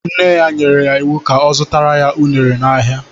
Nne ya nyere ya iwu ka ọ zụtara ya unere n'ahịa.